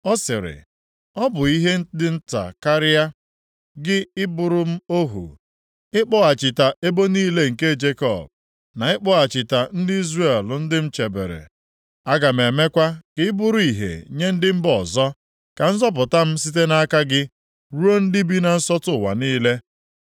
Ọ sịrị, “Ọ bụ ihe dị nta karịa, gị ị bụrụ m ohu, ịkpọghachita ebo niile nke Jekọb na ịkpọghachita ndị Izrel ndị m chebere. Aga m emekwa ka ị bụrụ ìhè nye ndị mba ọzọ, ka nzọpụta m site nʼaka gị ruo ndị bi na nsọtụ ụwa niile.”